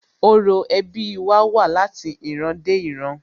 Orò ẹbí wa wá láti ìran dé ìran